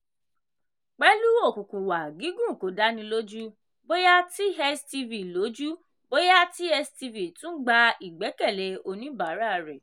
pẹ́lú òkùnkùn wà gígùn kò dáni lójú bóyá tstv lójú bóyá tstv tún gba ìgbẹ́kẹ̀lé oníbàárà rẹ̀.